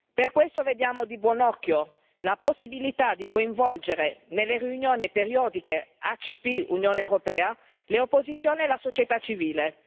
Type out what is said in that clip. Per questo vediamo di buon occhio la possibilità di coinvolgere nelle riunioni periodiche ACP Unione europea l'opposizione e la società civile.